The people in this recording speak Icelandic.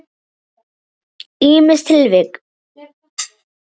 Ýmis tilvik.